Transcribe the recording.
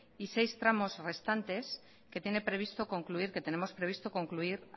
y seis tramos restantes que tiene previsto concluir que tenemos previsto concluir